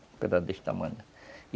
Um pedaço desse tamanho.